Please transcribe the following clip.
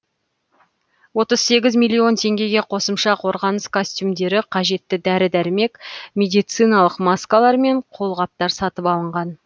отыз сегіз миллион теңгеге қосымша қорғаныс костюмдері қажетті дәрі дәрмек медициналық маскалар мен қолғаптар сатып алынған